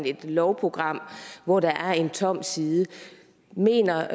et lovprogram hvor der er en tom side mener